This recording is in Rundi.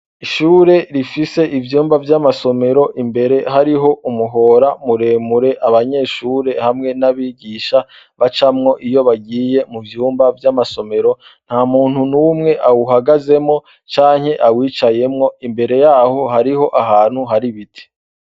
Ishure rifise ivyumba vyamasomero imbere harimwo umuhora muremure abanyeshure hamwe nabigisha bacamwo iyo bagiye muvyumba vyamasomero ntamuntu numwe uhagazemwo cnke awicayemwo imbere yaho hari shntu hari ibiti.